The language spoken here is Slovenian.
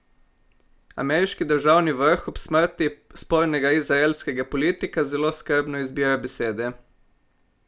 Ameriški državni vrh ob smrti spornega izraelskega politika zelo skrbno izbira besede.